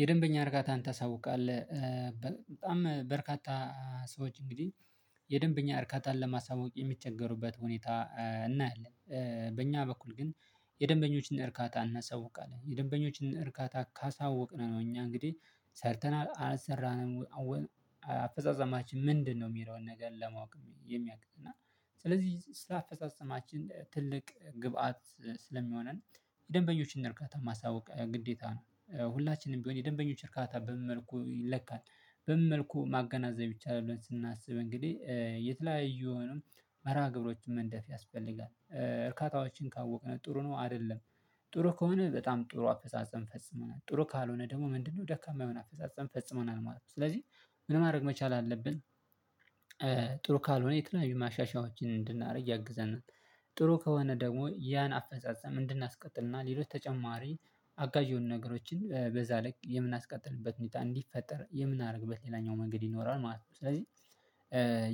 የደንበኛ እርካታን ታሳውቃለህ። በጣም በርካታ ሰዎች እንግዲህ የደንበኛ እርካታን ለማሳወቅ የሚቸገሩበት ሁኔታ እናያለን። በእኛ በኩል ግን የደንበኞችን እርካታ እናሳውቃለን የደንበኞችን እርካታ ካሳወቅን ነው እኛ እንግዲህ ሰርተናል አልሰራንም። አፈጻጸማችን ምንድነው? የሚለውን ነገር ለማወቅ የሚያቅት እና ስለዚህ ስራ አፈጻጸማችን ትልቅ ግብአት ስለሚሆነን የደንበኞችን እርካታ ማሳወቅ ግዴታ ነው። ሁላችንም ቢሆን የደንበኞች እርካታ በምን መልኩ ይለካል? በምን መልኩ ማገናዘብ ይቻላል? ብለን ስናስብ እንግዲህ የተለያዩ የሆኑ መርሃ ግብሮችን መንደፍ ያስፈልጋል። እርካታዎችን ካወቅን ጥሩ ነው አይደለም? ጥሩ ከሆነ በጣም ጥሩ አፈጻጸም ፈጽመናል ጥሩ ካልሆነ ደግሞ ምንድነው ደካማ የሆነ አፈጻጸም ፈጽመናል ማለት ነው። ስለዚህ ምን ማድረግ መቻል አለብን? ጥሩ ካልሆነ የተለያዩ ማሻሻያዎችን እንድናደርግ ያግዘናል ነው። ጥሩ ከሆነ ደግሞ ያን አፈጻጸም እንድናስቀጥል እና ሌሎች ተጨማሪ አጋዥ የሆኑ ነገሮችን በዛ ልክ የምናስቀጥልበት ሁኔታ እንዲፈጠር የምናደርግበት ሌላኛው መንገድ ይኖራል ማለት ነው። ስለዚህ